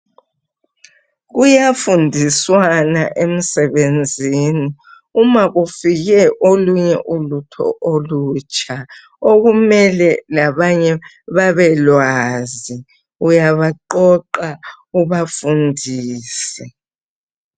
Kuyafundiswana emsebenzini, uma kufike olunye ulutho olutsha, okumele labanye babelwazi uyabaqoqa ubafundise.